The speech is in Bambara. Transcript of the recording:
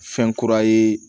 Fɛn kura ye